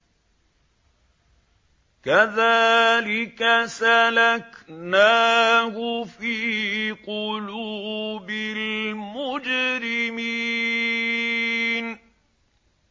كَذَٰلِكَ سَلَكْنَاهُ فِي قُلُوبِ الْمُجْرِمِينَ